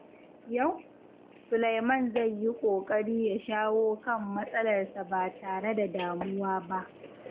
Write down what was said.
Yau, Sulaiman zai yi ƙoƙari ya shawo kan matsalarsa ba tare da damuwa ba.